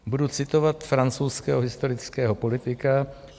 Budu citovat francouzského historického politika.